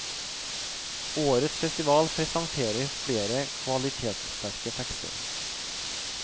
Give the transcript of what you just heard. Årets festival presenterer flere kvalitetssterke tekster.